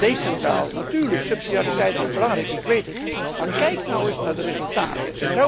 Centraal, decentraal, natuurlijk subsidiariteit is belangrijk, ik weet het, maar kijk nou eens naar de resultaten.